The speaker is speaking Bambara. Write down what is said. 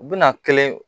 U bɛna kelen